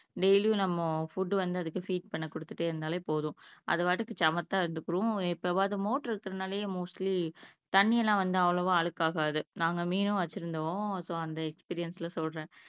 டெய்லியும் நம்ம ஃபுட் வந்து அதுக்கு ஃபீட் பண்ண குடுத்துட்டே இருந்தாலே போதும் அது பாட்டுக்கு சமத்தா இருந்துக்கும் எப்பவாவது மோட்டர் இருக்குறதுனாலயே மோஸ்ட்லி தண்ணி எல்லாம் வந்து அவ்வளவா அழுக்காகாது. நாங்க மீனும் வச்சிருந்தோம் so அந்த எக்ஸ்பீரியன்ஸ்ல சொல்றேன்